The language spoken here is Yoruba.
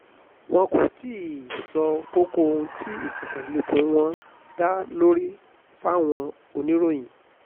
wọn kò tí ì sọ kókó ohun tí ìfikùn lukùn wọn dá lórí fáwọn oníròyìn